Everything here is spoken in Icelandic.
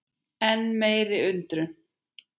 Enn meiri undrun